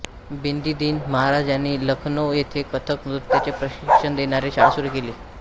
बिंदादिन महाराज यांनी लखनौ येथे कथक नृत्याचे प्रशिक्षण देणारी शाळा सुरू केली